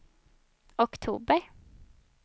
oktober